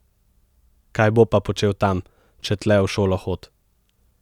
Kaj bo pa počel tam, če tle v šolo hod?